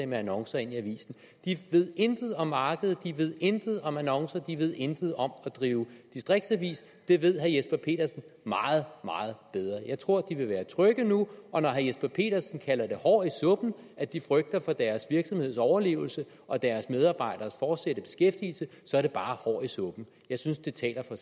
med annoncer de ved intet om markedet de ved intet om annoncer de ved intet om at drive distriktsaviser det ved herre jesper petersen meget meget bedre jeg tror de vil være trygge nu og når herre jesper petersen kalder det hår i suppen at de frygter for deres virksomheds overlevelse og deres medarbejderes fortsatte beskæftigelse så er det bare hår i suppen jeg synes det taler for